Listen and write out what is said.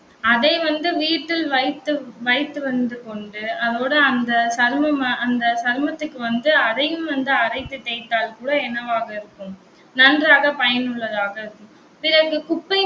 அதை வந்து, வீட்டில் வைத்து வைத்து வந்து கொண்டு அதோட அந்த சருமம், அந்த சருமத்துக்கு வந்து, அதையும் வந்து அரைத்து தேய்த்தால் கூட என்னவாக இருக்கும் நன்றாக பயனுள்ளதாக இருக்கும். பிறகு குப்பை